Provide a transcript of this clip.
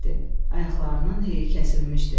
Ayaqlarının heyi kəsilmişdi.